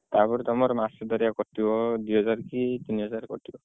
ତାପରେ ତମର ମାସ ଦାରିଆ କଟିବ ଦିହଜାର କି ତିନିହଜାର କଟିବ।